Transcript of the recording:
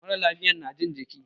Mara lafiyan na jin jiki.